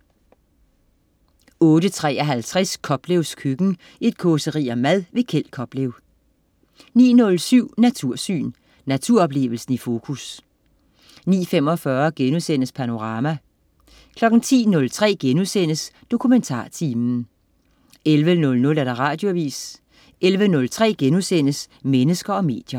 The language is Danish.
08.53 Koplevs køkken. Et causeri om mad. Kjeld Koplev 09.07 Natursyn. Naturoplevelsen i fokus 09.45 Panorama* 10.03 DokumentarTimen* 11.00 Radioavis 11.03 Mennesker og medier*